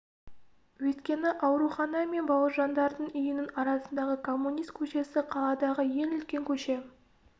өйткені аурухана мен бауыржандардың үйінің арасындағы коммунист көшесі қаладағы ең үлкен көше